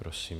Prosím.